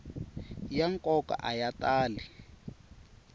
ya nkoka a ya tali